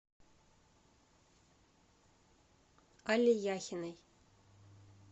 алле яхиной